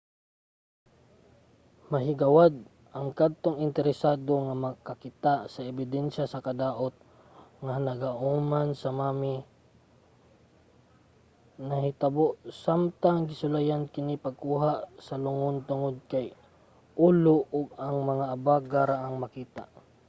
mahigawad ang kadtong interesado nga makakita sa ebidensiya sa kadaot nga naagoman sa mummy nga nahitabo samtang gisulayan kini pagkuha sa lungon tungod kay ulo ug mga abaga ra ang makita